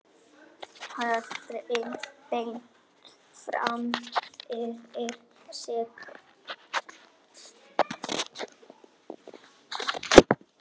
Horfir beint fram fyrir sig.